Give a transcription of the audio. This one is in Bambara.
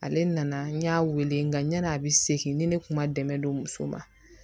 Ale nana n y'a wele nga ɲana a be segin ni ne kun ma dɛmɛ don muso ma